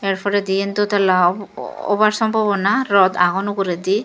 yar poredi yan dotala obar sombabona rod agon uguredi.